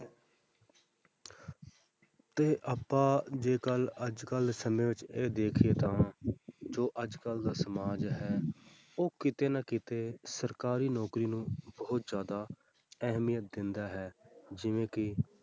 ਤੇ ਆਪਾਂ ਜੇਕਰ ਅੱਜ ਕੱਲ੍ਹ ਸਮੇਂ ਵਿੱਚ ਇਹ ਦੇਖੀਏ ਤਾਂ ਜੋ ਅੱਜ ਕੱਲ੍ਹ ਦਾ ਸਮਾਜ ਹੈ, ਉਹ ਕਿਤੇ ਨਾ ਕਿਤੇ ਸਰਕਾਰੀ ਨੌਕਰੀ ਨੂੰ ਬਹੁਤ ਜ਼ਿਆਦਾ ਅਹਿਮੀਅਤ ਦਿੰਦਾ ਹੈ ਜਿਵੇਂ ਕਿ